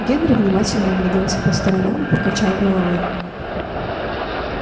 генри внимательно огляделся по сторонам и покачал головой